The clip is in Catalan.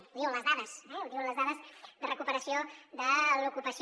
ho diuen les dades eh ho diuen les dades de recuperació de l’ocupació